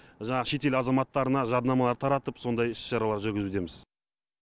жаңағы шетел азаматтарына жарнамалар таратып сондай іс шаралар жүргізудеміз